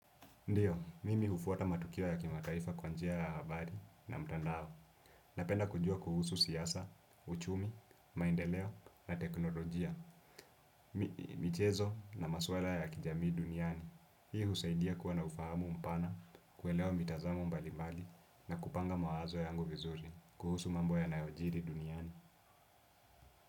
Ndiyo, mimi hufuata matukio ya kimataifa kwa njia ya habari na mtandao. Napenda kujua kuhusu siasa, uchumi, maendeleo na teknolojia, michezo na masuala ya kijamii duniani. Hii husaidia kuwa na ufahamu mpana, kuelewa mitazamo mbali mbali na kupanga mawazo yangu vizuri, kuhusu mambo yanayojiri duniani.